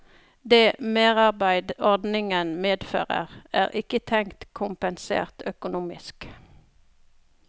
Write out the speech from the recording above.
Det merarbeid ordningen medfører, er ikke tenkt kompensert økonomisk.